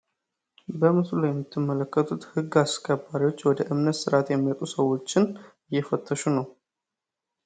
በምስሉ ላይ የምትመለከቱ ግ አስከባሪዎች ወደ እምነት ስርዓት የሚመጡ ሰዎችን እየፈተሽ ነው።